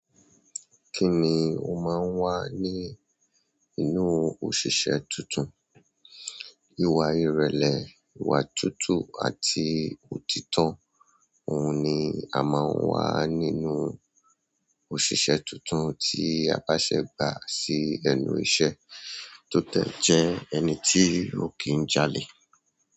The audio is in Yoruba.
Kí ni o máa ń wà ní inú òṣìṣẹ́ titun? Ìwà ìrẹ̀lẹ̀, ìwà tutu àti òtítọ́. Ohun ni a máa ń wà nínú òṣìṣẹ́ tuntun tí a bá ṣẹ̀ gba sí ẹnu iṣẹ́ tó dẹ̀ jẹ́ ẹni tí ó kì í jàle.